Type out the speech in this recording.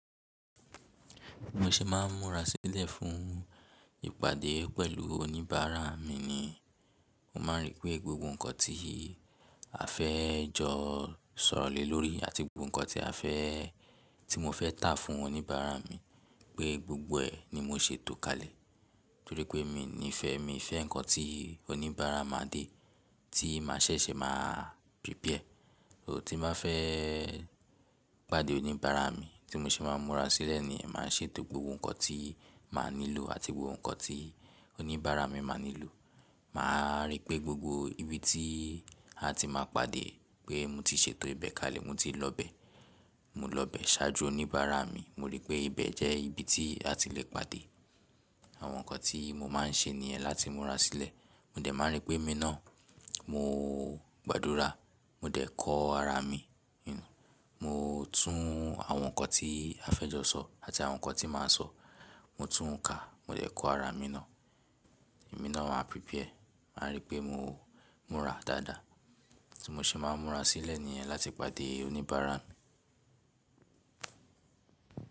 Bí mo ṣe máa ń múra sílẹ̀ fún ìpàdé pẹ̀lú oníbàárà mi ni, mo máa ń rí pé gbogbo nǹkan tí a fẹ́ jọ sọ̀rọ̀ lé lórí àti gbogbo nǹkan a fẹ́ tí mo fẹ́ tà fún oníbàárà mi pé gbogbo ẹ ni mo ṣe tó kalẹ̀. Torí pé mi ní ìfẹ́, mi fẹ́ nǹkan tí oníbàárà máa dé tí mà ṣẹ̀ṣẹ̀ máa prepare. Ò tí bá fẹ́ pàdé oníbàárà mi tí mo ṣe máa ń múra sílẹ̀ nìyẹn, màá ṣe tó gbogbo nǹkan tí màá nílò àti gbogbo nǹkan tí oníbàárà mi máa nílò. Màá rí pé gbogbo ibi tí a ti máa pàdé pé mo ti ṣe tó ibẹ̀ kalẹ̀, mo ti lọ ibẹ. Mo lọ bẹ̀ ṣáájú oníbàárà mi, mo rí pé ibẹ̀ jẹ́ ibi tí a ti le pàdé. Àwọn nǹkan tí mo máa ń ṣe nìyẹn láti múra sílẹ̀. Mo dẹ̀ máa ń rí pé ẹmí náà mo gbàdúrà, mo dẹ̀ kọ ara mi, mo tún àwọn nǹkan tí a fẹ́ jọ sọ àti àwọn nǹkan tí màá sọ, mo tún ka, mo dẹ̀ kọ ara mi náà. Ẹmí náà máa prepare. Màá rí pé mo múra dáadáa. Tí mo ṣe máa ń múra sílẹ̀ nìyẹn láti pàdé oníbàárà mi.